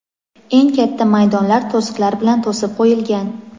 eng katta maydonlar to‘siqlar bilan to‘sib qo‘yilgan.